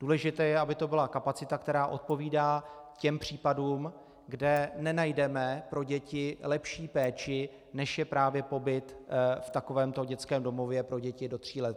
Důležité je, aby to byla kapacita, která odpovídá těm případům, kde nenajdeme pro děti lepší péči, než je právě pobyt v takovémto dětském domově pro děti do tří let.